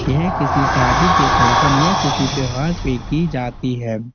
यह किसी शादी के फंक्शन । या किसी त्यौहार पे की जाती है।